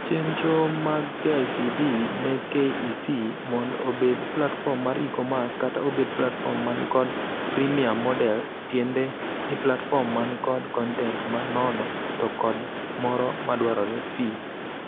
Chendro mag KICD ne KEC mond obed platform mar e-commerce kata obed platform man kod Freemium model-tiende ni platform man kod content ma nono to kod moro dwarore fee.